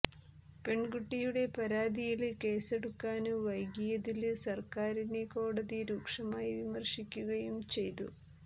പെണ്കുട്ടിയുടെ പരാതിയില് കേസെടുക്കാന് വൈകിയതില് സര്ക്കാരിനെ കോടതി രൂക്ഷമായി വിമര്ശിക്കുകയും ചെയ്തു